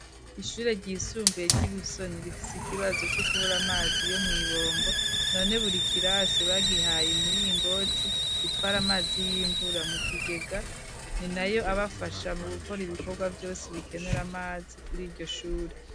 Ishure ryisumbuye, ry'i Busoni, rifise ikibazo, co kubura amazi, yo mu ibombo; none buri kirasi, bagihaye imiringoti, itwara amazi y'imvura, mu kigega; ni nayo abafasha, mu gukora ibikorwa vyose, bikenera amazi, kuri iryo shure.